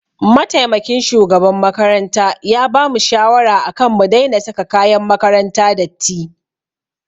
Mataimakin shugaban makaranta ya bamu shawara akan mu daina saka kayan makaranta datti.